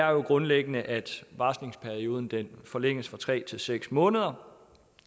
jo grundlæggende at varslingsperioden forlænges fra tre til seks måneder